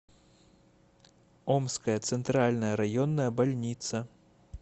омская центральная районная больница